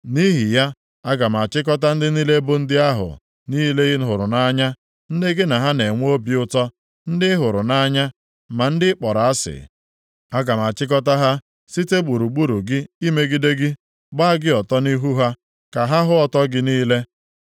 nʼihi ya, aga m achịkọta ndị niile bụ ndị ahụ niile ị hụrụ nʼanya, ndị gị na ha na-enwe obi ụtọ, ndị ị hụrụ nʼanya, ma ndị ị kpọrọ asị. Aga m achịkọta ha site gburugburu gị imegide gị, gbaa gị ọtọ nʼihu ha, ka ha hụ ọtọ gị niile.